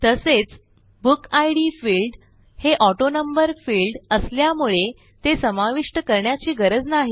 तसेच book ID field हे autonumber field असल्यामुळे ते समाविष्ट करण्याची गरज नाही